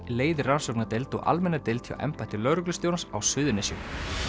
leiðir rannsóknardeild og almenna deild hjá embætti lögreglustjórans á Suðurnesjum